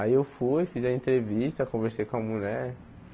Aí eu fui, fiz a entrevista, conversei com a mulher.